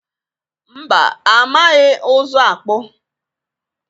mba amaghị ụzụ akpụ.